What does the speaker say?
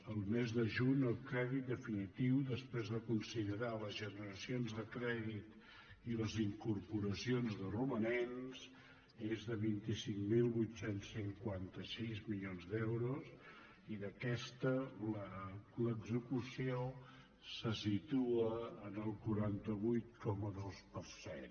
el mes de juny el crèdit definitiu després de considerar les generacions de crèdit i les incorporacions de romanents és de vint cinc mil vuit cents i cinquanta sis milions d’euros i d’aquesta l’execució se situa en el quaranta vuit coma dos per cent